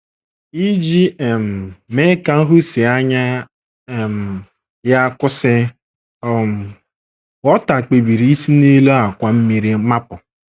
Iji um mee ka nhụsianya um ya kwụsị, um Walter kpebiri isi n’elu àkwà mmiri mapụ.